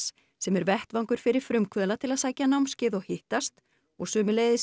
sem er vettvangur fyrir frumkvöðla til að sækja námskeið og hittast og sömuleiðis